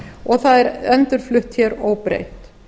og það er endurflutt hér óbreytt